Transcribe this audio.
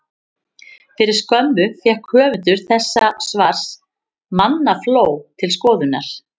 Fyrir skömmu fékk höfundur þessa svars mannafló til skoðunar.